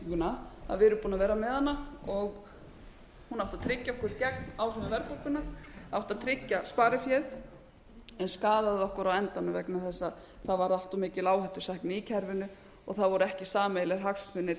verðtrygginguna að við erum búin að vera með hana og hún átti að tryggja okkur gegn áhrifum verðbólgunnar átti að tryggja spariféð en skaðaði okkur á endanum vegna þess að það varð allt of mikil áhættusækni í kerfinu og það voru ekki sameiginlegir hagsmunir